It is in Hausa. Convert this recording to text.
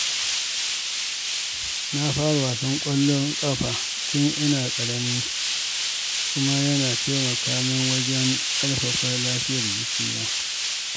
Na fara wasan ƙwallon ƙafa tun ina ƙarami, kuma ya taimaka min wajen ƙarfafa lafiyar jikina.